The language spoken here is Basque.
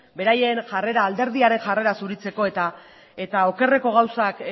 beraien jarrera alderdiaren jarrera zuritzeko eta okerreko gauzak